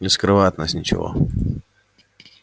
не скрывай от нас ничего